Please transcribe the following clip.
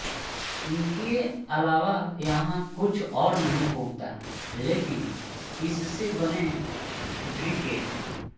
इनके अलावा यहाँ कुछ और नहीं उगता लेकिन इससे बने ब्रिकेट